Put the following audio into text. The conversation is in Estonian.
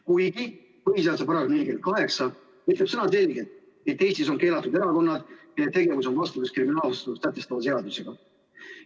Kuigi põhiseaduse § 48 ütleb sõnaselgelt, et Eestis on keelatud erakonnad, kelle tegevus on vastuolus kriminaalvastutust sätestava seadusega.